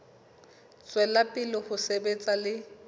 tswela pele ho sebetsa le